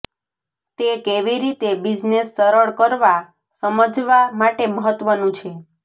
તે કેવી રીતે બિઝનેસ સરળ કરવા સમજવા માટે મહત્વનું છે